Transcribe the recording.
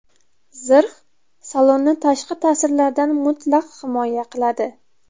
Zirh salonni tashqi ta’sirlardan mutlaq himoya qiladi.